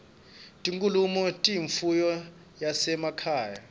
tinkhunkhu tiyimfuyo yasema khaye